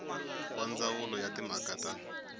wa ndzawulo ya timhaka ta